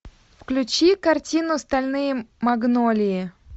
включи картину стальные магнолии